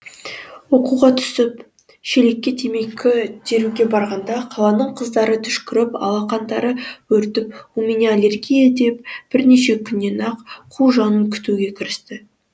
оқуға түсіп шелекке темекі теруге барғанда қаланың қыздары түшкіріп алақандары бөртіп у меня аллергия деп бірнеше күннен ақ қу жанын күтуге кірісті